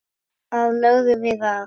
Þar lögðum við að.